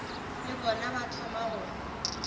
le bona ba thoma go